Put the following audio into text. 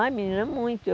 Ai, menina, muito. Eu